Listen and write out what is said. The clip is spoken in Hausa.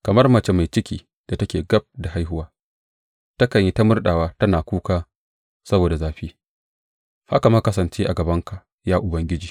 Kamar mace mai ciki da take gab da haihuwa takan yi ta murɗawa tana kuka saboda zafi, haka muka kasance a gabanka, ya Ubangiji.